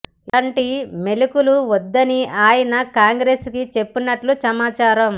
ఇలాంటి మెలికలు వద్దని ఆయన కాంగ్రెస్ కి చెప్పినట్టు సమాచారం